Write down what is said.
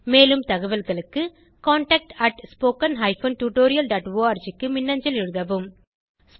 மேலும் தகவல்களுக்கு contactspoken tutorialorg க்கு மின்னஞ்சல் எழுதவும்